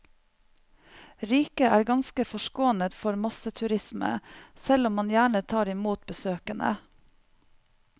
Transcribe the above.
Riket er ganske forskånet for masseturisme, selv om man gjerne tar imot besøkende.